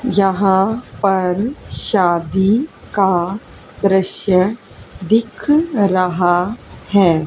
यहां पर शादी का दृश्य दिख रहा है।